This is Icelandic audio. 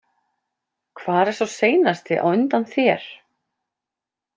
Hvar er sá seinasti á undan þér?